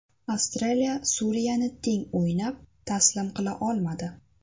Avstraliya Suriyani teng o‘ynab, taslim qila olmadi.